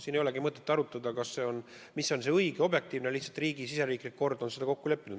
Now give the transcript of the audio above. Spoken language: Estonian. Siin ei olegi mõtet arutada, mis on õige ja objektiivne, sest riigisiseselt on selles kokku lepitud.